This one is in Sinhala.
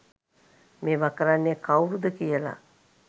මේවා කරන්නේ කව්රුද කියල.